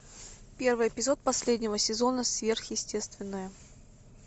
первый эпизод последнего сезона сверхъестественное